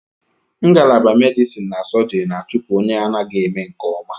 Ngalaba medison na sọjiri na-achupu onye anaghị eme nke ọma.